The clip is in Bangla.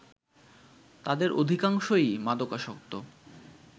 তাদের অধিকাংশই মাদকাসক্ত